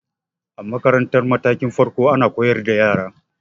A makarantar matakin farko ana koyar da yara